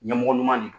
Ɲɛmɔgɔ ɲuman de don